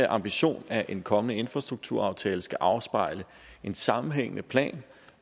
ambition at en kommende infrastrukturaftale skal afspejle en sammenhængende plan